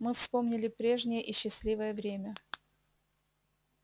мы вспомнили прежнее и счастливое время